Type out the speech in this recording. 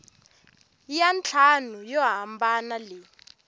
ya ntlhanu yo hambana leyi